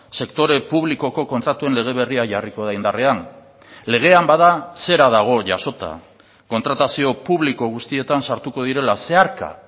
sektore publikoko kontratuen lege berria jarriko da indarrean legean bada zera dago jasota kontratazio publiko guztietan sartuko direla zeharka